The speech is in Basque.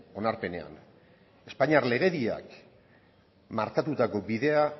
onarpenean espainiar legediak markatutako bidea